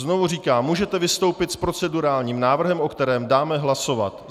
Znovu říkám, můžete vystoupit s procedurálním návrhem, o kterém dáme hlasovat.